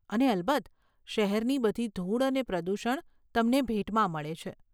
અને અલબત્ત, શહેરની બધી ધૂળ અને પ્રદૂષણ તમને ભેટમાં મળે છે.